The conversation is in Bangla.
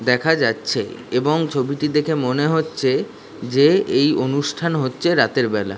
দেখা যাচ্ছে এবং ছবিটি দেখে মনে হচ্ছে যে এই অনুষ্ঠান হচ্ছে রাতের বেলা।